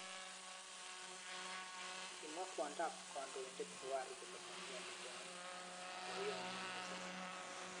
Kimwa kwondo ab kandoindet Buhari kole memnyoni boyot nyi mising.